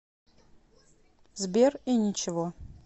сбер и ничего